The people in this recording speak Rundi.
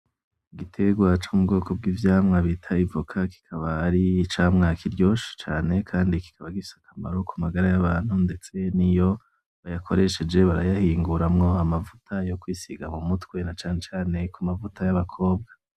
Igitegwa co mu bwoko bw'ivyamwa bita ivoka, kikaba ari icamwa kiryoshe cane kandi kikaba gifise akamaro ku magara y'abantu ndetse niyo bayakoresheje barayahinguramwo amavuta yo kwisiga mu mutwe na cane cane kumavuta y'abakobwa.